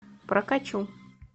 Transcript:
прокачу